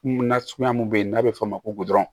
Nasuguya mun bɛ yen n'a bɛ f'o ma ko goro